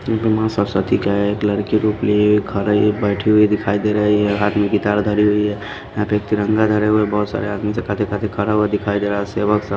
यहाँ पर मां सरस्वती का एक लड़की रूप लिए हुए खड़ी बैठी हुई दिखाई दे रही है हाथ में गितार धरी हुई है यहां पे एक तिरंगा धरे हुए बहुत सारे आदमी से खाते खाते खड़ा हुआ दिखाई दे रहा है सेवक सब --